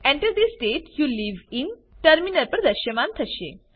Enter the state you live in terminal પર દ્રશ્યમાન થશે